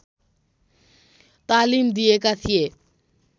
तालीम दिएका थिए।